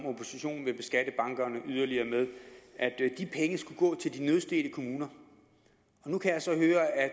at oppositionen vil beskatte bankerne yderligere skulle gå til de nødstedte kommuner nu kan jeg så høre at